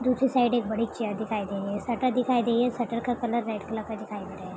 दुसरी साइड एक बड़ी चेयर दिखाई दे रही है। शटर दिखाई दे रही है। शटर का कलर रेड कलर का दिखाई दे रहा है।